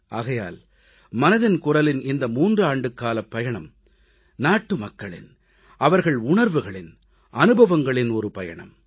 ஆகையால் மனதின் குரலின் இந்த 3 ஆண்டுக்காலப் பயணம் நாட்டுமக்களின் அவர்கள் உணர்வுகளின் அனுபவங்களின் பயணம்